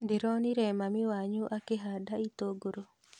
Ndĩronire mami wanyu akĩhanda itũngũrũ